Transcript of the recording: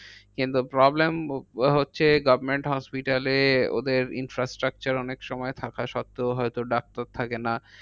কিন্তু problem হচ্ছে government hospital এ ওদের infrastructure অনেক সময় থাকা সত্ত্বেও হয়তো ডাক্তার থাকে না।